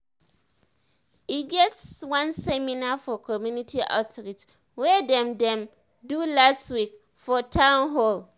e get one seminar for community outreach wey dem dem do last week for town hall